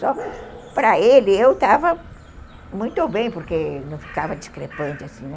Só para ele, eu estava muito bem, porque não ficava discrepante assim, né?